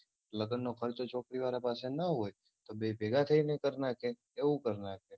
લગ્નનો ખર્ચો છોકરી વાળા પાસે ન હોય તો બે ભેગાં થઈને કર નાખે એવું કર નાખે